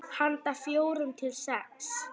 Handa fjórum til sex